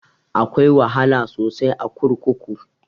Akwai wahala sosai a kurkuku